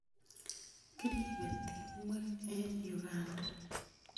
Kiripe timwek eng' Uganda .